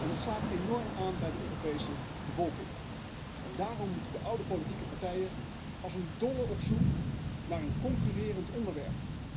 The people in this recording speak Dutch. Dat slaat enorm aan bij de Europese bevolking en daarom moeten de oude politieke partijen als een dolle op zoek naar een concurrerend onderwerp.